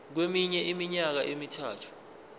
kweminye iminyaka emithathu